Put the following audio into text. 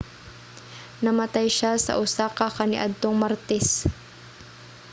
namatay siya sa osaka kaniadtong martes